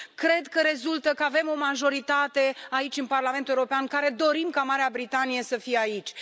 Cred că rezultă că avem o majoritate aici, în Parlamentul European, care dorim ca Marea Britanie să fie aici.